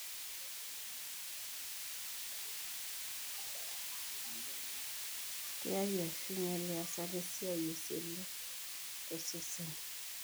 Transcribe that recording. kiar ashu inyial eyasata esiai oseli tosesen.